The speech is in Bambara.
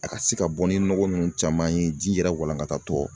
A ka se ka bɔ ni nɔgɔ nunnu caman ye ji yɛrɛ walankata tɔ.